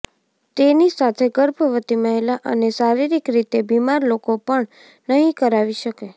તેની સાથે ગર્ભવતી મહિલા અને શારીરિક રીતે બીમાર લોકો પણ નહીં કરાવી શકે